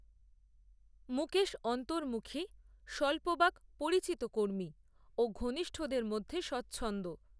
মুকেশ অন্তর্মুখী স্বল্পবাক পরিচিত কর্মী, ও ঘনিষ্ঠদের মধ্যে স্বচ্ছন্দ